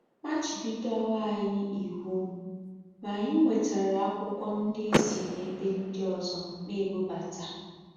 Machibidowo anyị iwu, ma anyị nwetara akwụkwọ ndị e si n'ebe ndị ọzọ na-ebubata.